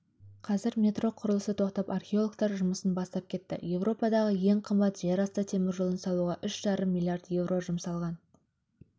қазір метро құрылысы тоқтап археологтар жұмысын бастап кетті еуропадағы ең қымбат жер асты теміржолын салуға үш жарым миллард еуро жұмсалған